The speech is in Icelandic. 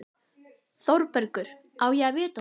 ÞÓRBERGUR: Á ég að vita það?